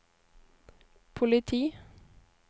politi